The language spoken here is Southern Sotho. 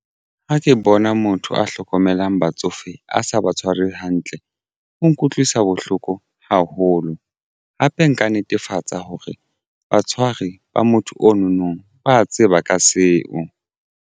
Ha ke bona motho a hlokomelang batsofe a sa ba tshware hantle o nkutlwisa bohloko haholo hape nka netefatsa hore batshwari ba motho ono nong ba a tseba ka seo.